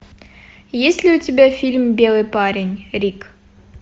есть ли у тебя фильм белый парень рик